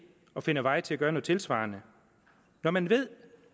og finder vej til at gøre noget tilsvarende når man ved